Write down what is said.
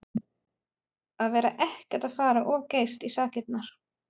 Að vera ekkert að fara of geyst í sakirnar.